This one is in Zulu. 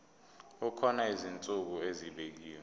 kukhona izinsuku ezibekiwe